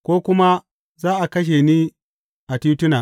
Ko kuma Za a kashe ni a tituna!